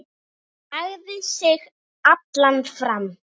Hann lagði sig allan fram.